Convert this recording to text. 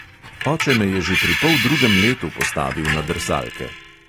Oče me je že pri poldrugem letu postavil na drsalke.